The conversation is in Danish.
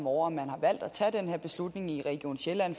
over at man har valgt at tage den her beslutning i region sjælland